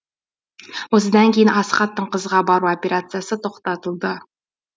осыдан кейін асхаттың қызға бару операциясы тоқтатылды